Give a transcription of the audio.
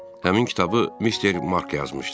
Həmin kitabı Mister Mark yazmışdır.